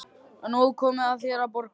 Og nú er komið að þér að borga.